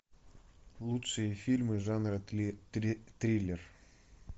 лучшие фильмы жанра триллер